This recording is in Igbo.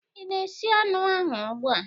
Ị na-esi anụ ahụ ugbu a?